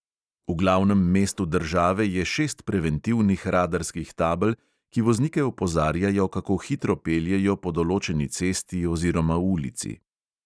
V glavnem mestu države je šest preventivnih radarskih tabel, ki voznike opozarjajo, kako hitro peljejo po določeni cesti oziroma ulici.